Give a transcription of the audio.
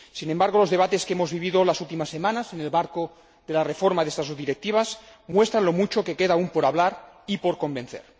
Sin embargo, los debates que hemos vivido las últimas semanas en el marco de la reforma de estas dos directivas muestran lo mucho que queda aún por hablar y por convencer.